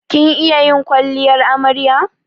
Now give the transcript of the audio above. Kin iya yin kwalliyar amarya?